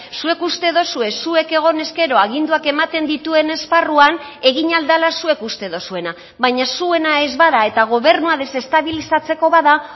zuek uste duzue zuek egon ezkero aginduak ematen dituen esparruan egin ahal dela zuek uste duzuena baina zuena ez bada eta gobernua desestabilizatzeko bada